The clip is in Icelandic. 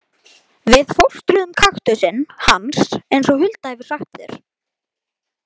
Við fóstruðum kaktusinn hans eins og Hulda hefur sagt þér.